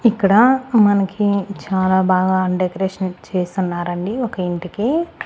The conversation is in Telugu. ఇక్కడ మనకి చాలా బాగా డెకరేషన్ చేసున్నారండి ఒక ఇంటికి.